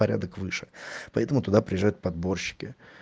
порядок выше поэтому туда приезжают подборщики